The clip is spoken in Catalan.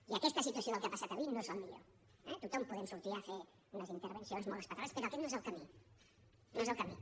i aquesta situació del que ha passat avui no és el millor eh tothom podem sortir a fer unes intervencions molt espaterrants però aquest no és el camí no és el camí